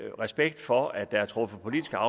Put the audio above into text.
og respekt for at der er truffet politiske